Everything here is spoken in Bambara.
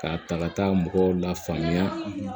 K'a ta ka taa mɔgɔw la faamuya